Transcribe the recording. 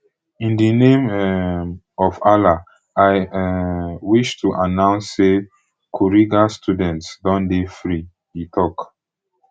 in di name um of allah i um wish to announce say kuriga students don dey free e tok